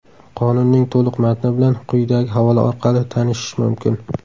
Qonunning to‘liq matni bilan quyidagi havola orqali tanishish mumkin.